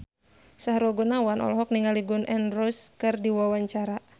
Sahrul Gunawan olohok ningali Gun N Roses keur diwawancara